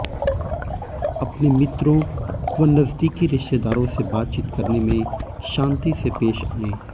अपने मित्रों व नज़दीकी रिश्तेदारों से बातचीत करने में शान्ति से पेश आयें